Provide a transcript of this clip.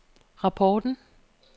rapporten